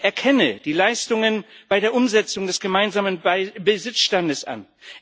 Ich erkenne die Leistungen bei der Umsetzung des gemeinsamen Besitzstandes an.